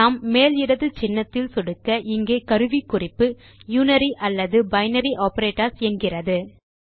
நாம் மேல் இடது சின்னத்தில் சொடுக்க இங்கே கருவிக்குறிப்பு யுனரி அல்லது பைனரி ஆப்பரேட்டர்ஸ் என்கிறது